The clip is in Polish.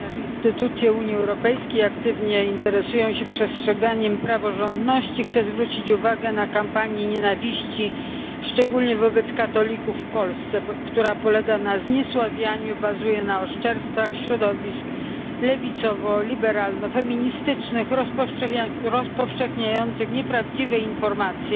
Ponieważ instytucje Unii Europejskiej aktywnie interesują się przestrzeganiem praworządności chcę zwrócić uwagę na kampanię nienawiści, szczególnie wobec katolików w Polsce, która polega na zniesławianiu, bazuje na oszczerstwach środowisk lewicowo liberalno feministycznych rozpowszechniających nieprawdziwe informacje